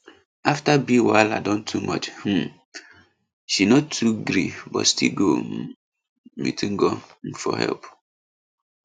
after bill wahala don too much um she no too gree but still go um meet ngo um for help